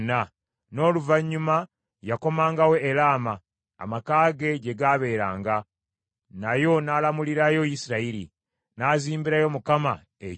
N’oluvannyuma yakomangawo e Laama, amaka ge gye gaabeeranga, nayo n’alamulirayo Isirayiri. N’azimbirayo Mukama ekyoto.